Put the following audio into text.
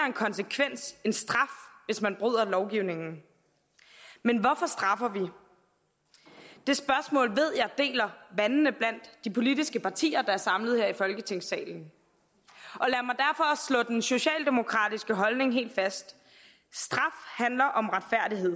en konsekvens en straf hvis man bryder lovgivningen men hvorfor straffer vi det spørgsmål ved jeg deler vandene blandt de politiske partier der er samlet her i folketingssalen og den socialdemokratiske holdning helt fast straf handler om retfærdighed